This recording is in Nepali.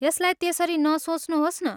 यसलाई त्यसरी नसोच्नुहोस् न।